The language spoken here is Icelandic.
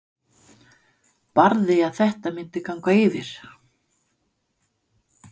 Barði að þetta myndi ganga yfir.